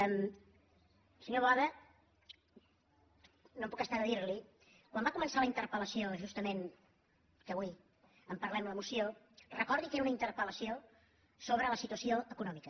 senyor boada no em puc estar de dir li ho quan va començar la interpel·lació justament que avui en parlem la moció recordi que era una interpel·lació sobre la situació econòmica